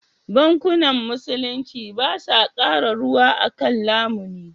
Bankunan Musulunci ba sa kara ruwa a kan lamuni.